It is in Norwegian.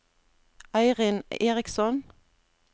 Eirin Eriksson